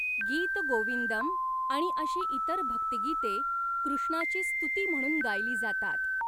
गीत गोविंदम आणि अशी इतर भक्तिगीते कृष्णाची स्तुती म्हणून गायली जातात.